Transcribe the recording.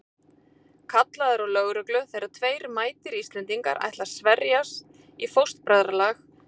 Kallað er á lögreglu þegar tveir mætir Íslendingar ætla að sverjast í fóstbræðralag hjá